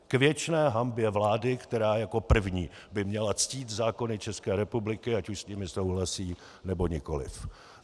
K věčné hanbě vlády, která jako první by měla ctít zákony České republiky, ať už s nimi souhlasí, či nikoliv.